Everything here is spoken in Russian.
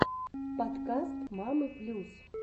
подкаст мамы плюс